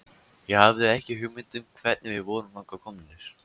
Ég hafði ekki hugmynd um hvernig við vorum þangað komnir.